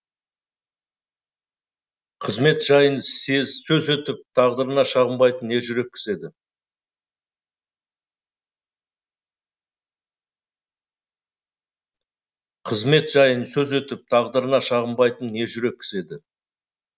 қызмет жайын сөз етіп тағдырына шағынбайтын ержүрек кісі еді